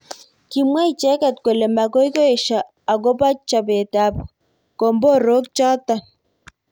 Kimwa icheket kole makoi esho akobo chobet ab komborok chotok.